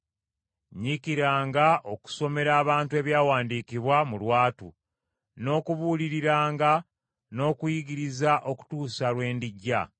Nyiikiranga okusomera abantu Ebyawandiikibwa mu lwatu n’okubuuliriranga, n’okuyigiriza okutuusa lwe ndijja.